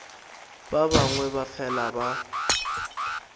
ba bangwe ba fela ba